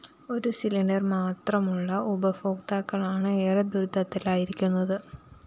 ഒരു സിലിണ്ടർ മാത്രമുളള ഉപഭോക്താക്കളാണ് ഏറെ ദുരിതത്തിലായിരിക്കുന്നത്